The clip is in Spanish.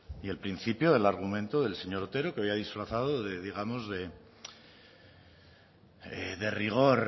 y el principio del argumento del señor otero que hoy ha disfrazado de digamos de rigor